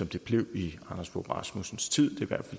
det blev i anders fogh rasmussens tid